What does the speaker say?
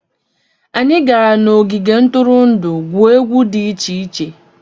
Anyị gara n'ogige ntụrụndụ gwuo egwu dị iche iche.